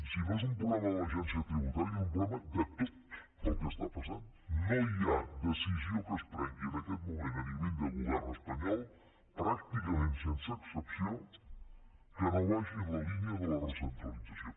si no és un problema de l’agència tributària és un problema de totno hi ha decisió que es prengui en aquest moment en l’àmbit del govern espanyol pràcticament sense excepció que no vagi en la línia de la recentralització